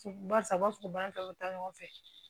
Barisa u b'a fɔ ko ba taw ta ɲɔgɔn fɛ